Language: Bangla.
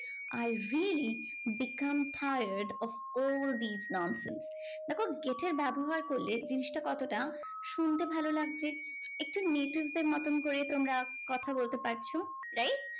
I really become tired of all these nonsense দেখো get এর ব্যবহার করলে জিনিসটা কতটা শুনতে ভালো লাগছে একটু native দের মতোন করে তোমরা কথা বলতে পারছো right